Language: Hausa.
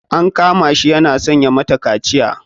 An kama shi yana son ya mata kaciya.